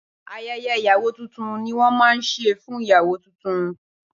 Ayẹyẹ ìyàwó tuntun ni wọ́n máa ń ṣe fún ìyàwó tuntun